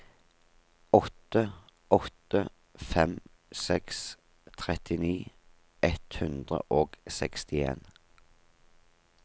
åtte åtte fem seks trettini ett hundre og sekstien